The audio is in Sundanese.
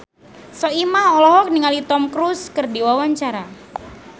Soimah olohok ningali Tom Cruise keur diwawancara